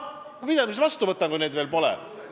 No mida ma siis vastu võtan, kui neid veel pole?